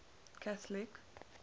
catholic